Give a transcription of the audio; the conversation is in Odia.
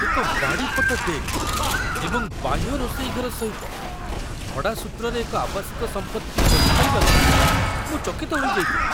ଏକ ବାଡ଼ିପଟ ଡେକ୍ ଏବଂ ବାହ୍ୟ ରୋଷେଇ ଘର ସହିତ ଭଡ଼ା ସୂତ୍ରରେ ଏକ ଆବାସିକ ସମ୍ପତ୍ତି ଖୋଜି ପାଇବାରୁ ମୁଁ ଚକିତ ହୋଇଯାଇଥିଲି।